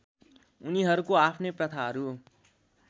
उनीहरूको आफ्नै प्रथाहरू